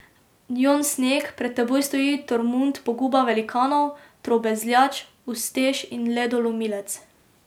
Jon Sneg, pred teboj stoji Tormund Poguba velikanov, Trobezljač, Ustež in Ledolomilec.